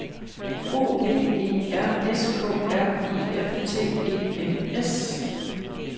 O V E R S K R I F T E N S